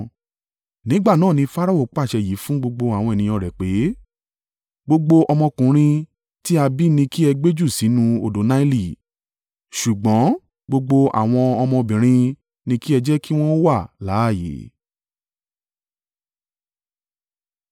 Nígbà náà ni Farao pàṣẹ yìí fún gbogbo àwọn ènìyàn rẹ̀ pé, “Gbogbo ọmọkùnrin tí a bí ni kí ẹ gbé jù sínú odò Naili, ṣùgbọ́n gbogbo àwọn ọmọbìnrin ni kí ẹ jẹ́ kí wọn ó wà láààyè.”